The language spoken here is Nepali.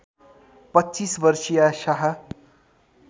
२५ वर्षीया साह